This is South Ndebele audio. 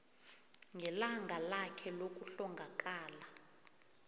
ngelanga lakhe lokuhlongakala